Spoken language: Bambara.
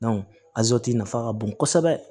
a nafa ka bon kosɛbɛ